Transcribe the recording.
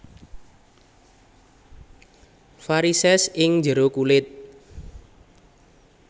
Varisès ing jero kulit